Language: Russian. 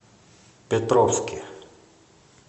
петровске